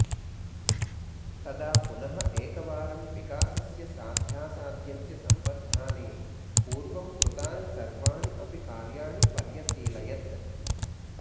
तदा पुनः एकवारं विकासस्य साध्यासाध्यस्य सम्बद्धानि पूर्वं कृतानि सर्वाणि अपि कार्याणि पर्यशीलयत्